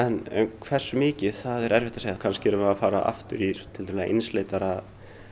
hversu mikið er erfitt að segja kannski erum við að fara í einsleitara